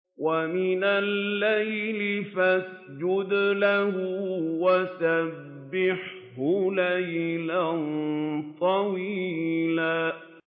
وَمِنَ اللَّيْلِ فَاسْجُدْ لَهُ وَسَبِّحْهُ لَيْلًا طَوِيلًا